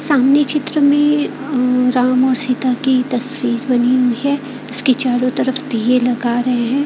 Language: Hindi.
सामने चित्र में राम और सीता की तस्वीर बनी हुईं है जिसकी चारों तरफ दिए लगा रहे हैं।